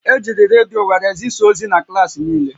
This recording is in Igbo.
Ejiri redio were zisaa ozi na klaasị niile